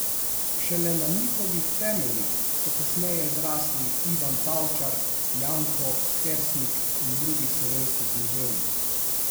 Šele na njihovih temeljih so kasneje zrasli Ivan Tavčar, Janko Kersnik in drugi slovenski književniki.